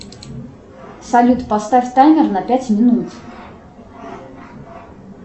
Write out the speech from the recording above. салют поставь таймер на пять минут